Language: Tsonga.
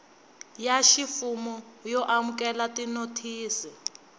ya ximfumo yo amukela tinothisi